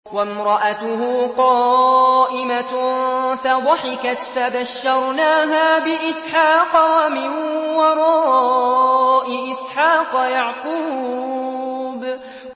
وَامْرَأَتُهُ قَائِمَةٌ فَضَحِكَتْ فَبَشَّرْنَاهَا بِإِسْحَاقَ وَمِن وَرَاءِ إِسْحَاقَ يَعْقُوبَ